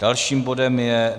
Dalším bodem je